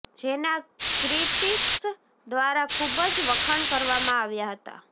જેના ક્રિટિક્સ દ્વારા ખુબ જ વખાણ કરવામાં આવ્યા હતા